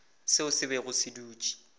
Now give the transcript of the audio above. seo se bego se dutše